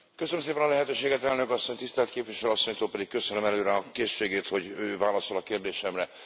Köszönöm szépen a lehetőséget, Elnök Asszony, tisztelt Képviselő Asszonynak pedig köszönöm előre a készségét, hogy ő válaszol a kérdésemre.